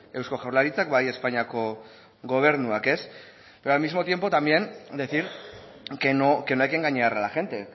eusko jaurlaritzak eta bai espainiako gobernuak al mismo tiempo también decir que no hay que engañar a la gente